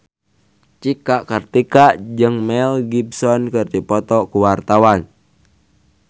Cika Kartika jeung Mel Gibson keur dipoto ku wartawan